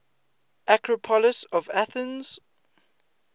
acropolis of athens